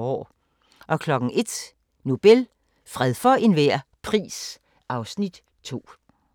01:00: Nobel – fred for enhver pris (Afs. 2)